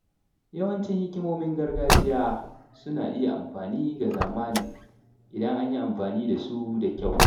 Yawancin hikimomin gargajiya suna iya amfani ga zamani idan an yi amfani da su da kyau.